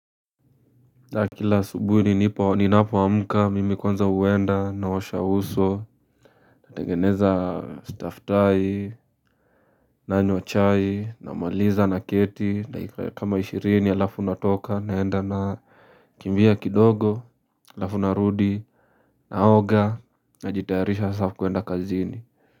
Na kila asubuhi ninapoamka mimi kwanza huenda na osha uso natengeneza staftai, nanywa chai namaliza naketi dakika kama ishirini halafu natoka naenda nakimbia kidogo halafu narudi naoga najitayarisha sasa kuenda kazini.